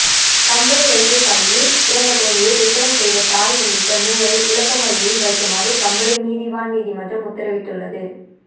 கம்பளை வைத்தியசாலையில் பிறந்த குழந்தையை விற்பனை செய்த தாய் உள்ளிட்ட மூவரை விளக்கமறியலில் வைக்குமாறு கம்பளை நீதிவான் நீதிமன்றம் உத்தரவிட்டுள்ளது